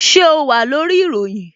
Ṣé o wà lórí ìròyìn?